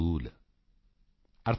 ज्ञान के मिटत न हिय को सूल